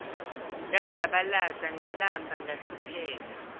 ngazabalaza ngalamba ngahlupheka